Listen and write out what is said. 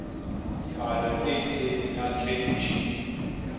palo e itseng ya kg